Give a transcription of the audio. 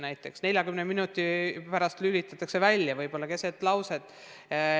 Näiteks 40 minuti pärast lülitatakse "tund" välja, võib-olla keset lauset.